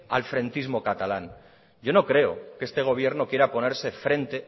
al frentismo catalán yo no creo que este gobierno quiera ponerse frente